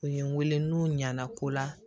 U ye n wele n'u ɲana ko la